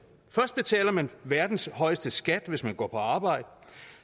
først betaler man verdens højeste skat hvis man går på arbejde